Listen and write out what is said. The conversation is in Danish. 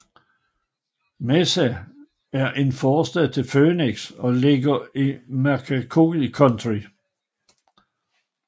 Mesa er en forstad til Phoenix og er beliggende i Maricopa County